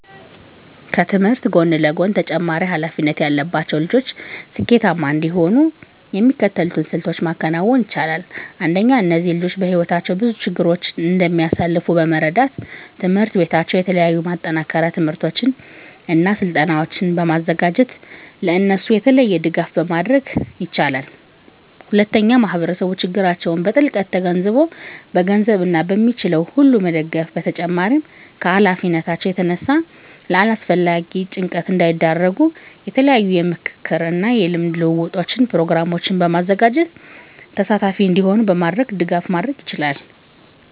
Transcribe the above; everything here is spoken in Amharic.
ከትምህርት ጎን ለጎን ተጨማሪ ሀላፊነት ያለባቸው ልጆች ስኬታማ እንዲሆኑ የሚከተሉትን ስልቶች ማከናወን ይቻላል። አንደኛ እነዚህ ልጆች በህይወታቸው ብዙ ችግሮችን እንደሚያሳልፍ በመረዳት ትምሕርት ቤታቸው የተለያዩ የማጠናከሪያ ትምህርቶችን እና ስልጠናዎችን በማዘጋጀት ለእነሱ የተለየ ድጋፍ ማድረግ ይችላል። ሁለተኛ ማህበረሰቡ ችግራቸውን በጥልቀት ተገንዝቦ በገንዘብ እና በሚችለው ሁሉ መደገፍ በተጨማሪም ከሀላፊነታቸው የተነሳ ለአላስፈላጊ ጭንቀት እንዳይዳረጉ የተለያዩ የምክክር እና የልምድ ልውውጥ ፕሮግራሞችን በማዘጋጀት ተሳታፊ እንዲሆኑ በማድረግ ድጋፍ ማድረግ ይቻላል።